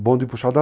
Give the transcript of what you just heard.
O bonde puxado a